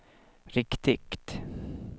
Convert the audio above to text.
riktigt